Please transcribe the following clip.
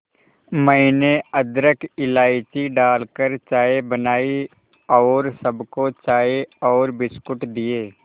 मैंने अदरक इलायची डालकर चाय बनाई और सबको चाय और बिस्कुट दिए